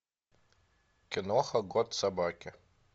киноха год собаки